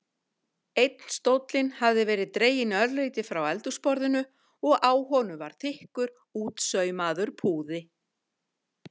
Einn stóllinn hafði verið dreginn örlítið frá eldhúsborðinu og á honum var þykkur, útsaumaður púði.